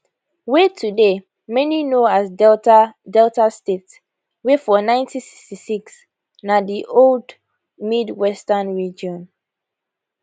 wey today many know as delta delta state wey for 1966 na di old midwestern region